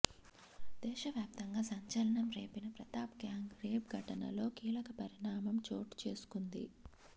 దేశవ్యాప్తంగా సంచలనం రేపిన హత్రాస్ గ్యాంగ్ రేప్ ఘటనలో కీలక పరిణామం చోటుచేసుకుంది